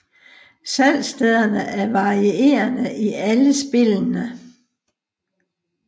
Salgsstederne er varierende i alle spillene